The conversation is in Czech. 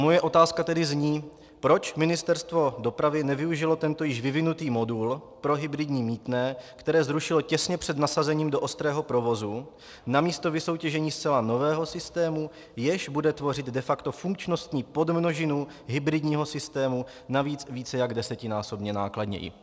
Moje otázka tedy zní: Proč Ministerstvo dopravy nevyužilo tento již vyvinutý modul pro hybridní mýtné, které zrušilo těsně před nasazením do ostrého provozu, namísto vysoutěžení zcela nového systému, jež bude tvořit de facto funkčnostní podmnožinu hybridního systému, navíc více jak desetinásobně nákladněji?